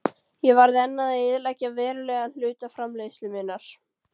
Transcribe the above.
Ég varð enn að eyðileggja verulegan hluta framleiðslu minnar.